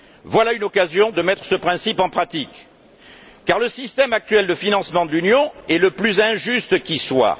Voilà une occasion de mettre ce principe en pratique, car le système actuel de financement de l'Union est le plus injuste qui soit.